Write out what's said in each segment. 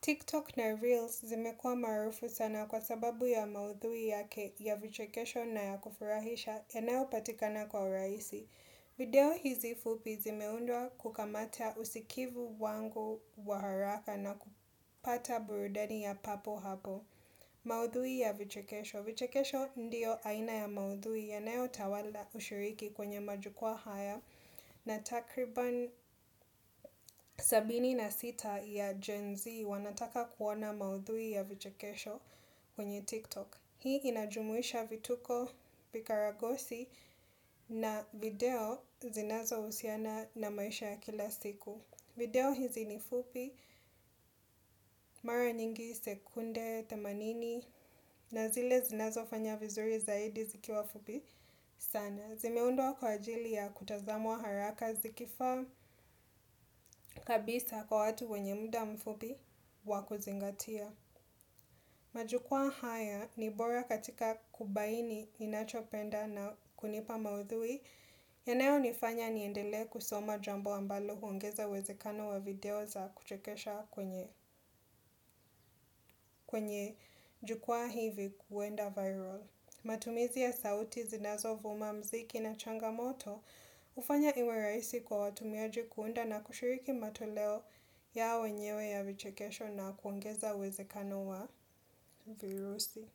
TikTok na Reels zimekua maarufu sana kwa sababu ya maudhui yake ya vichekesho na ya kufurahisha yanayo patikana kwa urahisi. Video hizi fupi zimeundwa kukamata usikivu wangu wa haraka na kupata burudani ya papo hapo. Maudhui ya vichikesho. Vichekesho ndiyo aina ya maudhui yanayo tawala ushiriki kwenye majukuwa haya na takriban sabini na sita ya Gen Z wanataka kuona maudhui ya vichekesho kwenye TikTok. Hii inajumuisha vituko vikaragosi na video zinazohusiana na maisha ya kila siku. Video hizi ni fupi, mara nyingi sekunde, themanini, na zile zinazo fanya vizuri zaidi zikiwa fupi sana. Zimeundwa kwa ajili ya kutazamwa haraka zikifaa kabisa kwa watu wenye muda mfupi wakuzingatia. Majukwa haya, nibora katika kubaini ninachopenda na kunipa maudhui. Yanayo nifanya niendele kusoma jambo ambalo huongeza uwezekano wa video za kuchekesha kwenye jukuwa hivi kuenda viral. Matumizi ya sauti zinazo vuma muziki na changamoto hufanya iwerahisi kwa watumiaji kuunda na kushiriki matoleo yao wenyewe ya vichekesho na kuongeza uwezekano wa virusi.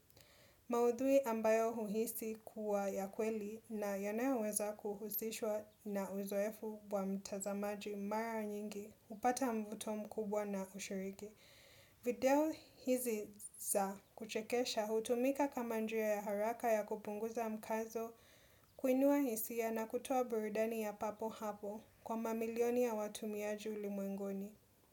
Maudhui ambayo huhisi kuwa ya kweli na yanayoweza kuhusishwa na uzoefu wa mtazamaji mara nyingi hupata mvuto mkubwa na ushiriki video hizi za kuchekesha hutumika kama njia ya haraka ya kupunguza mkazo kuinua hisia na kutoa burudani ya papo hapo kwa mamilioni ya watumiaji ulimwenguni.